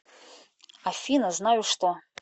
афина знаю что